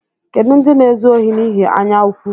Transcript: Kedu ndị na-ezu ohi n’ihi anyaụkwụ?